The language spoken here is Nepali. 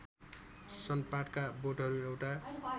सनपाटका बोटहरू एउटा